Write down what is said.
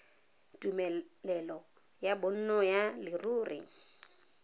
tumelelo ya bonno ya leruri